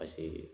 Paseke